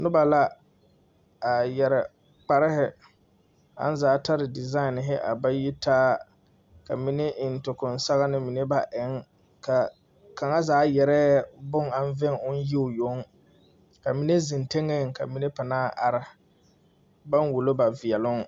Noba la a yɛre kparehi aŋ zaa tari disai aŋ ba yi taa ka mine eŋ tokpaŋ sɔgni mine baŋ eŋ ka kaŋa zaa gɛrɛ bon aŋ vɛŋ oŋ yi o yoŋ ka mine ziŋ tiŋɛŋ ka mine are baŋ wulo ba veɛluŋ.